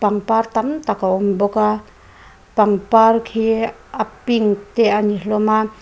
pangpar tam tak a awm bawk a pangpar khi a pink te a ni hlawm a.